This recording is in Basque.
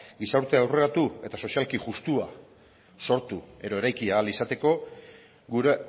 gizarte aurreratu eta sozialki justua sortu edo eraiki ahal izateko gure